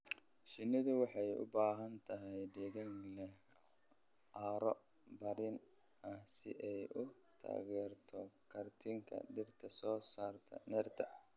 Shinnidu waxay u baahan tahay deegaan leh carro bacrin ah si ay u taageerto koritaanka dhirta soo saarta nectar.